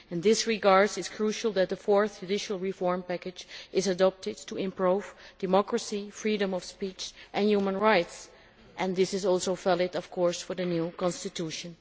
In this regard it is crucial that the Fourth Judicial Reform Package is adopted to improve democracy, freedom of speech and human rights, and this is also valid, of course, for the new constitution.